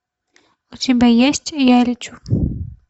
у тебя есть я лечу